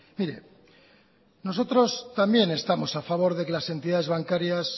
mire nosotros también estamos a favor de que las entidades bancarias